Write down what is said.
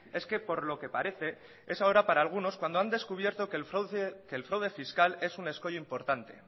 es que por lo que parece es ahora para algunos cuando han descubierto que el fraude fiscal es un escollo importante